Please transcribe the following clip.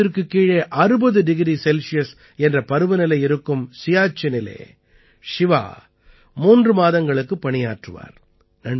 பூஜ்யத்திற்குக் கீழே 60 degree Celsius என்ற பருவநிலை இருக்கும் சியாச்சினிலே ஷிவா மூன்று மாதங்களுக்குப் பணியாற்றுவார்